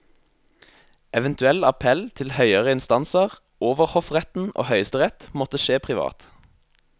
Eventuell appell til høyere instanser, overhoffretten og høyesterett, måtte skje privat.